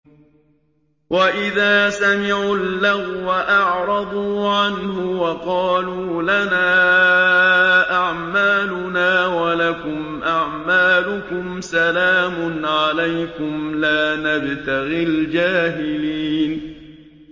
وَإِذَا سَمِعُوا اللَّغْوَ أَعْرَضُوا عَنْهُ وَقَالُوا لَنَا أَعْمَالُنَا وَلَكُمْ أَعْمَالُكُمْ سَلَامٌ عَلَيْكُمْ لَا نَبْتَغِي الْجَاهِلِينَ